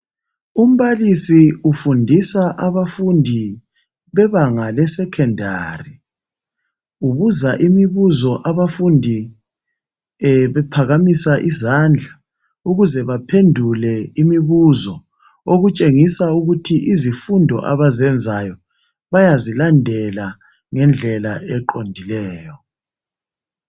Umbalisi ufundisa abafundi bebanga le secondary. Ubuza imibuzo abafundi bephakamisa izandla ukuze baphendule imibuzo okutshengisa ukuthi izifundo abazenzayo bayazilandela ngendlela eqondileyo.